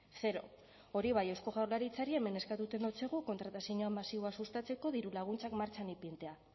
zero hori bai eusko jaurlaritzari hemen eskatzen dotsagu kontratazio masiboa sustatzeko dirulaguntzak martxan ipintzea